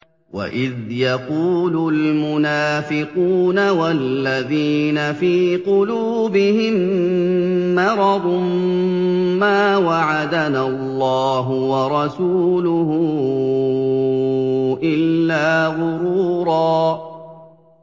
وَإِذْ يَقُولُ الْمُنَافِقُونَ وَالَّذِينَ فِي قُلُوبِهِم مَّرَضٌ مَّا وَعَدَنَا اللَّهُ وَرَسُولُهُ إِلَّا غُرُورًا